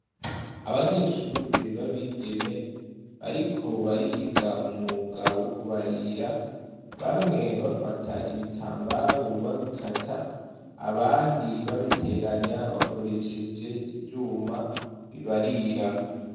Abanyeshure ba bigeme bariko bariga umwuga wo kubarira, bamwe bafata ibitambaro babikata, abandi babiteranya bakoresheje ivyuma bibarira.